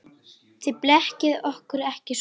Þið blekkið okkur ekki svona.